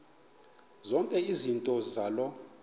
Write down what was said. zonke izinto zaloo